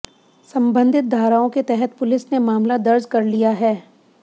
संबंधित धाराओं के तहत पुलिस ने मामला दर्ज कर लिया है